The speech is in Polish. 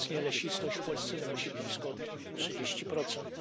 Obecnie lesistość w Polsce wynosi blisko trzydzieści procent.